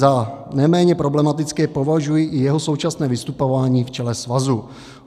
Za neméně problematické považuji i jeho současné vystupování v čele svazu.